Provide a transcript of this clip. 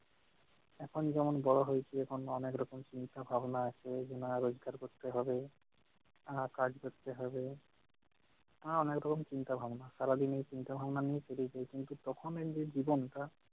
এখন যেমন বড় হয়েছি এখন অনেক রকম চিন্তা ভাবনা আছে যে না রোজগার করতে হবে আহ কাজ করতে হবে, আহ অনেক রকম চিন্তা ভাবনা, সারাদিন এই চিন্তা ভাবনা নিয়ে পরে আছি কিন্তু তখন এই যে জীবনটা-